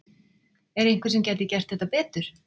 Er einhver sem gæti gert þetta betur?